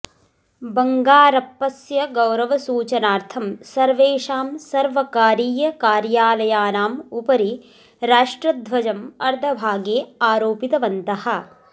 बङ्गारप्पस्य गौरवसूचनार्थं सर्वेषां सर्वकारीयकार्यालयानाम् उपरि राष्ट्रध्वजम् अर्धभागे आरोपितवन्तः